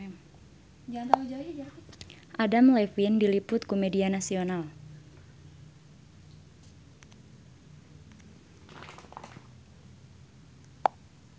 Adam Levine diliput ku media nasional